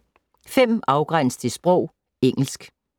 5. Afgræns til sprog: engelsk